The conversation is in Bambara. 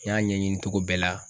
N y'a ɲɛɲini cogo bɛɛ la.